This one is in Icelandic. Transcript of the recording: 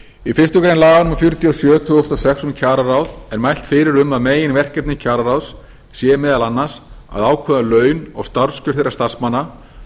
í fyrstu grein laga númer fjörutíu og sjö tvö þúsund og sex um kjararáð er mælt fyrir um að meginverkefni kjararáðs sé meðal annars að ákveða laun og starfskjör þeirra starfsmanna